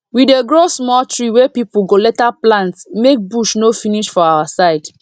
we dey grow small tree wey people go later plant make bush no finish for our side